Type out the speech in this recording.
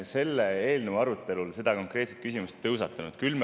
Selle eelnõu arutelul seda konkreetset küsimust ei tõusetunud.